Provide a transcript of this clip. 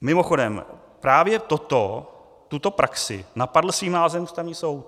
Mimochodem právě toto, tuto praxi, napadl svým nálezem Ústavní soud.